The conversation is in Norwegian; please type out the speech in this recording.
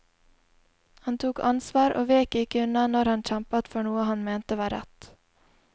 Han tok ansvar og vek ikke unna når han kjempet for noe han mente var rett.